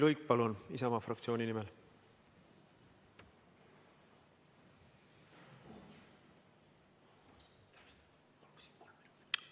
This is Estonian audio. Jüri Luik Isamaa fraktsiooni nimel!